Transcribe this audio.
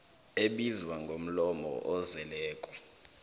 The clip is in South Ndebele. ebizwa ngomlomo ozeleko